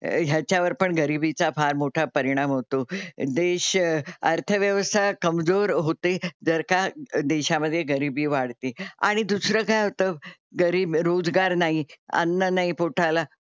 ह्याच्या वर पण गरीबीचा फार मोठा परिणाम होतो. देश अर्थव्यवस्था कमजोर होते जर का देशामध्ये गरीबी वाढते आणि दुसरं काय होतं घरी रोजगार नाही, अन्न नाही पोटाला,